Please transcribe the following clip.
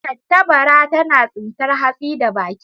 tattabara tana tsintar hatsi da baki.